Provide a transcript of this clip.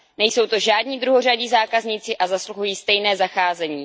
Nejsou to žádní druhořadí zákazníci a zasluhují stejné zacházení.